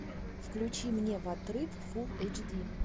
включи мне в отрыв фул эйч ди